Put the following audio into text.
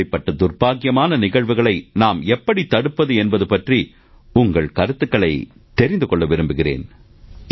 இப்படிப்பட்ட துர்பாக்கியமான நிகழ்வுகளை நாம் எப்படி தடுப்பது என்பது பற்றி உங்கள் கருத்துக்களைத் தெரிந்து கொள்ள விரும்புகிறேன்